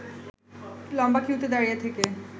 লম্বা কিউতে দাঁড়িয়ে থেকে